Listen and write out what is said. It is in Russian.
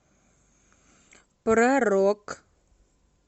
про рок